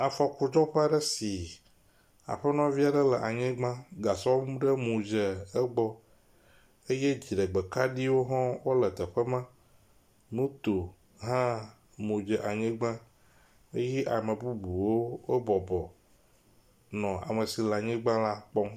Afɔkudzɔƒe aɖe si aƒenɔvi aɖe le anyigba, gasɔ vi ɖe mu dze egbɔ eye dziɖegbe kaɖiwo hã wole teƒe ma, moto hã mu dze anyigba eye ame bubuwo wobɔbɔ nɔ ame si le anyigba la kpɔm.